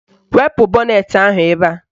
Wepu bọnetị ahụ ebe a